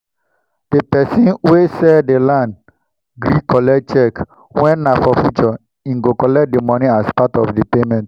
dey pesin wen sell dey land gree collect cheque wen nah for future him go collect the money as part of dey payment